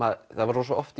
oft